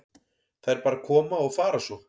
Þær bara koma og fara svo.